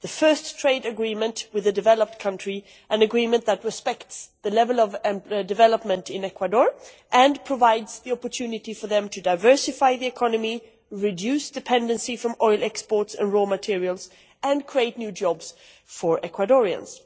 It is the first trade agreement with a developed country, an agreement that respects the level of development in Ecuador, and provides the opportunity for them to diversify the economy, reduce dependency on oil exports and raw materials and create new jobs for Ecuadorians.